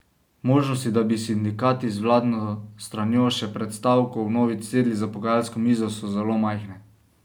Možnosti, da bi sindikati z vladno stranjo še pred stavko vnovič sedli za pogajalsko mizo, so zelo majhne.